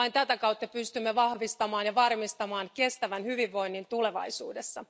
Vain tätä kautta pystymme vahvistamaan ja varmistamaan kestävän hyvinvoinnin tulevaisuudessa.